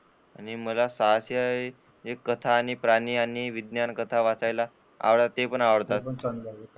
आणि मला साहसी कथा आणि प्राणी आणि विज्ञान कथा वाचायला ते पण आवडतात.